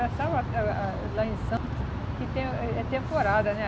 Achava ah ah lá em Santo que é é temporada, né?